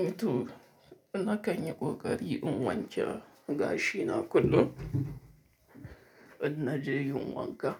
Eh to na kan yi ƙoƙari in wanke gashi na kullum. In na je yin wanka,